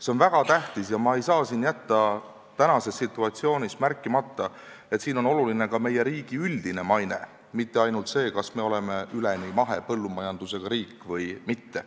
See on väga tähtis ja ma ei saa jätta tänases situatsioonis märkimata, et oluline on ka meie riigi üldine maine, mitte ainult see, kas me oleme üleni mahepõllumajandusega riik või mitte.